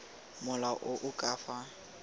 mola o o ka fa